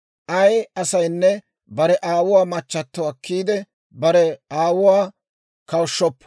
«Ay asaynne bare aawuwaa machchato akkiide, bare aawuwaa kawushshoppo.